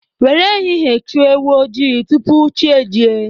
Nwere ehihie chụọ ewu ojii tupu chi ejie